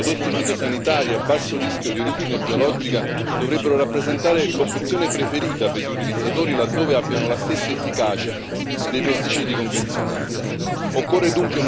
Sono dell'opinione che i prodotti fitosanitari a basso rischio di origine biologica dovrebbero rappresentare l'opzione preferita per gli utilizzatori laddove abbiano la stessa efficacia dei pesticidi convenzionali.